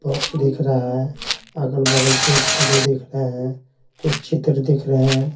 Box दिख रहा है अगल-बगल पेड़ पौधे दिख रहे हैं कुछ चित्र दिख रहे हैं।